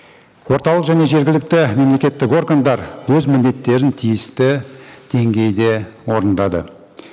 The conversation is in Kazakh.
орталық және жергілікті мемлекеттік органдар өз міндеттерін тиісті деңгейде орындады